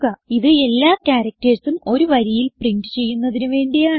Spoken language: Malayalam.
ഇത് എല്ലാ charactersഉം ഒരു വരിയിൽ പ്രിന്റ് ചെയ്യുന്നതിന് വേണ്ടിയാണ്